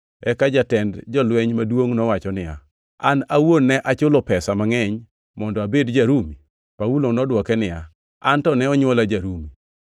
Eka jatend jolweny maduongʼ nowacho niya, “An awuon ne achulo pesa mangʼeny mondo abed ja-Rumi.” Paulo nodwoke niya, “An to ne onywola ja-Rumi.”